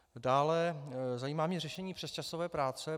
Dále mě zajímá řešení přesčasové práce.